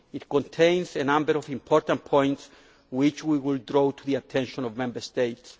It contains a number of important points, which we will bring to the attention of Member States.